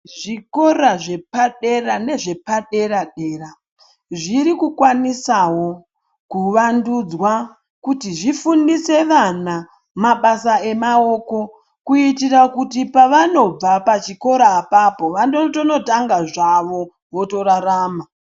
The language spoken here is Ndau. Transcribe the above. Zvikora zvepadera nezvepaderedera zvirikukwanisawo kuvandudzwa kuti zvifundise vana mabasa emawoko kuitira kuti pavanobva pachikora apapo vanotonotanga zvavo votorarama.